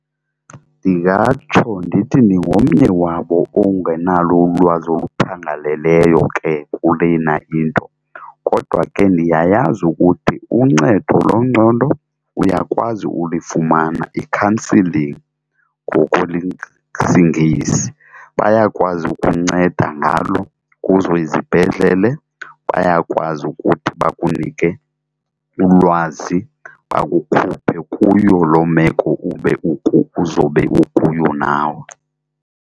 Ndingatsho ndithi ndingomnye wabo ongenalo ulwazi oluphangaleleyo ke kulena into, kodwa ke ndiyayazi ukuthi uncedo lwengqondo uyakwazi ulifumana i-counselling ngokwelesiNgesi. Bayakwazi ukunceda ngalo kuzo izibhedlele, bayakwazi ukuthi bakunike ulwazi bakukhuphe kuyo loo meko ube uzobe ukuyo nawe.